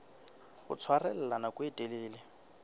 ho tshwarella nako e telele